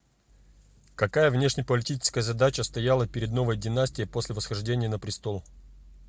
какая внешнеполитическая задача стояла перед новой династией после восхождения на престол